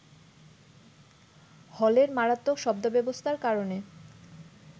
হলের মারাত্মক শব্দব্যবস্থার কারণে